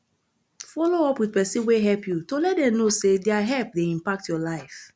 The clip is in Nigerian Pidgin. follow up with person wey help you to let them know sey their help dey impact your life